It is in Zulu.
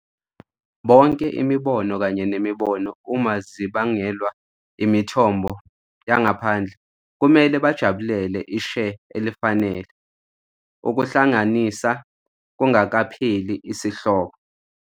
Bonke imibono kanye nemibono, uma ezibangelwa imithombo yangaphandle, kumele bajabulele i share elifanele Ukuhlanganisa kungakapheli isihloko.